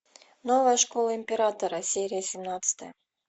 новая школа императора серия семнадцатая